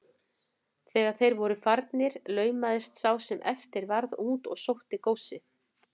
Þegar þeir voru farnir laumaðist sá sem eftir varð út og sótti góssið.